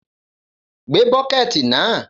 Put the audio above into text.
Gbé bọ́kẹ́tì náà!